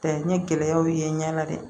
Ta n ye gɛlɛyaw ye n ɲɛ na dɛ